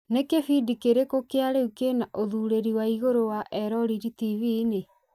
nĩ kibindi kĩrĩkũ kĩa riu kĩ na ũthurĩri wa igũrũ wa eroreri tv-inĩ